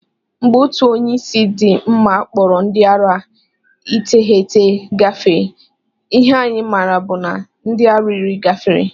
Mgbe otu onye isi di mma kpọrọ ndi ara Iteghete gafee, ihe anyi mara bụ na ndi ara iri gafere.